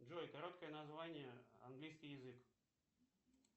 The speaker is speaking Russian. джой короткое название английский язык